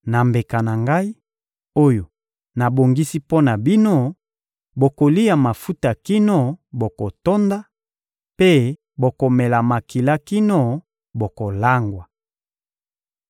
Na mbeka na Ngai, oyo nabongisi mpo na bino, bokolia mafuta kino bokotonda, mpe bokomela makila kino bokolangwa.